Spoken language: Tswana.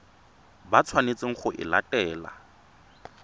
ba tshwanetseng go e latela